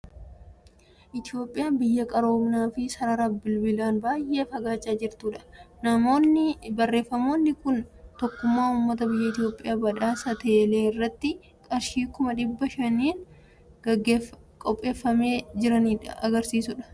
Itoophiyaan biyya qaroominaa fi sarara bilbilaan baay'ee fagaachaa jirtudha. Barreeffamni kun tokkummaa uummata biyya Itoophiyaa badhaasa Teelee irratti qarshii kuma dhibba shaniin qopheessanii jiranii kan argisiisudha. Maamiltoonni badhaasa kanaaf akka qophaa'an beeksisa.